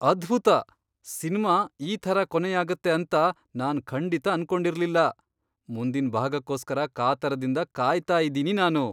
ಅದ್ಭುತ! ಸಿನ್ಮಾ ಈ ಥರ ಕೊನೆಯಾಗತ್ತೆ ಅಂತ ನಾನ್ ಖಂಡಿತ ಅನ್ಕೊಂಡಿರ್ಲಿಲ್ಲ. ಮುಂದಿನ್ ಭಾಗಕ್ಕೋಸ್ಕರ ಕಾತರದಿಂದ ಕಾಯ್ತಾ ಇದೀನಿ ನಾನು.